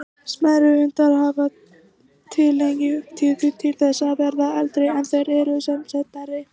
Smærri hundar hafa tilhneigingu til þess að verða eldri en þeir sem eru stærri.